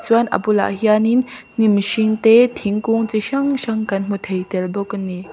chuan a bulah hianin hnim hring te thingkung chi hrang hrang kan hmu thei tel bawk a ni.